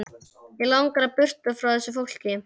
Mig langar burt frá þessu fólki.